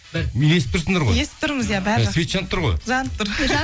мені естіп тұрсыңдар ғой естіп тұрмыз иә бәрі жақсы свет жанып тұр ғой жанып тұр